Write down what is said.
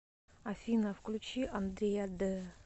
афина включи андрея д